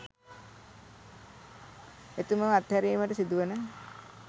එතුමෝ අත්හැරීමට සිදුවන